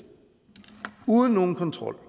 uden nogen kontrol